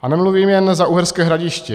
A nemluvím jen za Uherské Hradiště.